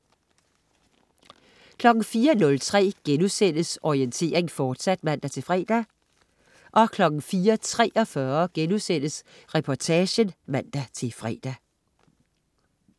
04.03 Orientering, fortsat* (man-fre) 04.43 Reportagen* (man-fre)